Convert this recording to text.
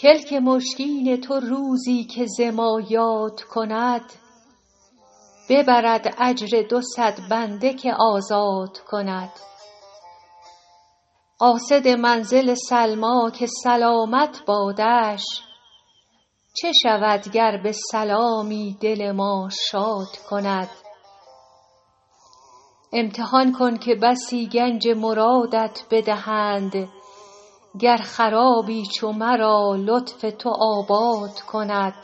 کلک مشکین تو روزی که ز ما یاد کند ببرد اجر دو صد بنده که آزاد کند قاصد منزل سلمیٰ که سلامت بادش چه شود گر به سلامی دل ما شاد کند امتحان کن که بسی گنج مرادت بدهند گر خرابی چو مرا لطف تو آباد کند